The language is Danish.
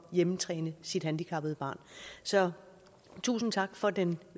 hjemmetræne sit handicappede barn så tusind tak for den